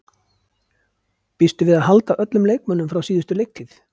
Býstu við að halda öllum leikmönnum frá síðustu leiktíð?